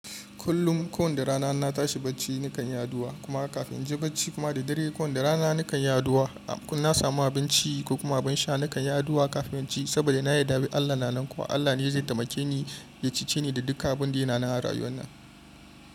Kullum, ko da rana na tashi bacci nakan yi addu'a kuma kafin in je bacci kuma da dare ko da rana nakan yi addu'a. In na samu abinci ko kuma ban sha nakan yi addu'a kafin ci saboda na yarda Allah na nan kuwa Allah ne zai taimake ni ya cece ni da duka abun da yana nan a rayuwa nan.